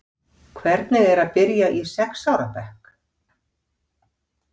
Bryndís Hólm: Hvernig er að byrja í sex ára bekk?